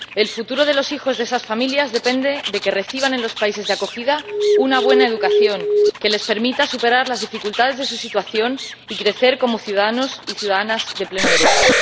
El futuro de los hijos de esas familias depende de que reciban en los países de acogida una buena educación que les permita superar las dificultades de su situación y crecer como ciudadanos y ciudadanas de pleno derecho.